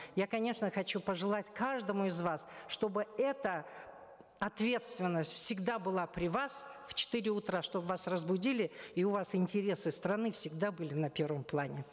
я конечно хочу пожелать каждому из вас чтобы эта ответственность всегда была при вас в четыре утра чтобы вас разбудили и у вас интересы страны всегда были на первом плане